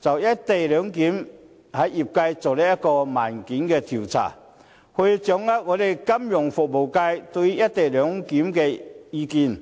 就"一地兩檢"向業界進行問卷調查，以掌握金融服務界對"一地兩檢"的意見。